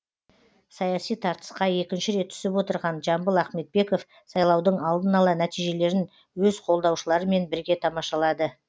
саяси тартысқа екінші рет түсіп отырған жамбыл ахметбеков сайлаудың алдын ала нәтижелерін өз қолдаушыларымен бірге тамашалады